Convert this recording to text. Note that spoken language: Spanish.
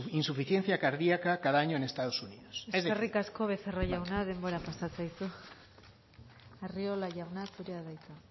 insuficiencia cardíaca cada año en estados unidos eskerrik asko becerra jauna denbora pasa zaizu arriola jauna zurea da hitza